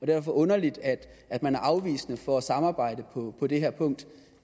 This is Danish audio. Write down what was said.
det underligt at man er afvisende over for at samarbejde på det her punkt